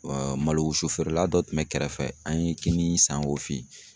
malo wusu feerela dɔ tun bɛ kɛrɛfɛ, an ye kini san o fɛ yen.